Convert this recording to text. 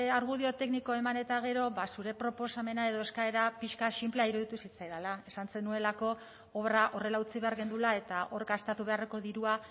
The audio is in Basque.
argudio teknico eman eta gero zure proposamena edo eskaera pixka bat sinplea iruditu zitzaidala esan zenuelako obra horrela utzi behar genuela eta hor gastatu beharreko dirua